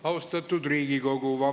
Austatud Riigikogu!